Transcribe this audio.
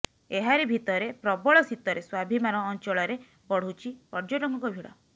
ଏହାରି ଭିତରେ ପ୍ରବଳ ଶୀତରେ ସ୍ୱାଭିମାନ ଅଂଚଳରେ ବଢୁଛି ପର୍ଯ୍ୟଟକଙ୍କ ଭିଡ